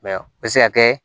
Mɛ o bɛ se ka kɛ